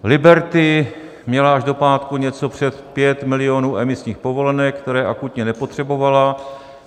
Liberty měla až do pátku něco přes 5 milionů emisních povolenek, které akutně nepotřebovala.